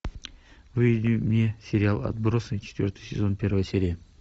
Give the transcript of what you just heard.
выведи мне сериал отбросы четвертый сезон первая серия